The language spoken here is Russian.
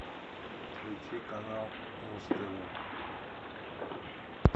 включи канал муз тв